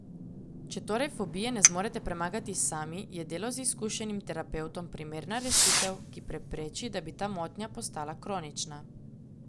Če torej fobije ne zmorete premagati sami, je delo z izkušenim terapevtom primerna rešitev, ki prepreči, da bi ta motnja postala kronična.